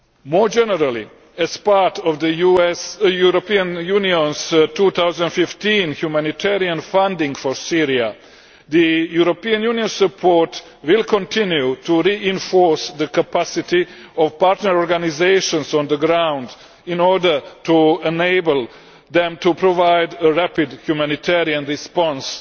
More generally, as part of the European Union's 2015 humanitarian funding for Syria, the European Union's support will continue to reinforce the capacity of partner organisations on the ground in order to enable them to provide a rapid humanitarian response